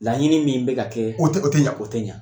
Laɲini min bɛka kɛ, o tɛ o tɛ ɲa, o tɛ ɲa.